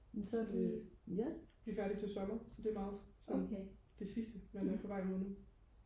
så det vi er færdige til sommer så det er meget sådan det sidste man er på vej mod nu